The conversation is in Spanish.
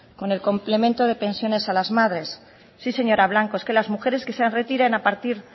con el complemento de pensiones a las madres sí señora blanco es que las mujeres que se retiren a partir